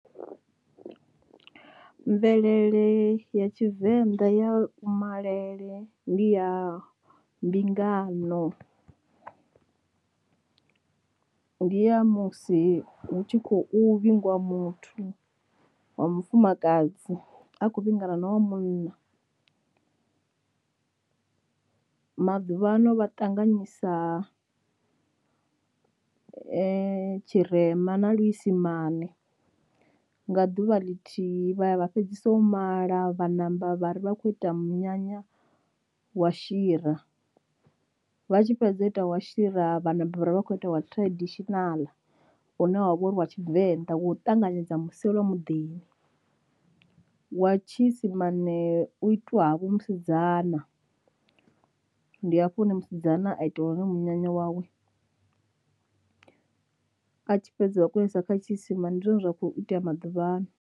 Mvelele ya tshivenḓa ya kumalele ndi ya mbingano ndi ya musi hu tshi khou vhingwa muthu wa mufumakadzi a khou vhingana wa munna. Maḓuvhano vha ṱanganyisa tshirema na luisimane nga ḓuvha ḽithihi vha ya vha fhedzisa u mala vha ṋamba vha ri vha khou ita munyanya wa shira, vha tshi fhedza u ita wa shira vhana vha kho ita wa traditional une wavha uri wa tshivenḓa wa u ṱanganedza muselwa muḓini. Wa tshiisimane u itiwa ha vho musidzana ndi hafho hune musidzana a itelwa hone munyanya wawe, a tshi fhedza a kono isa kha tshiisimani ndi zwine zwa kho itea maḓuvhano.